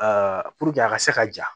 puruke a ka se ka ja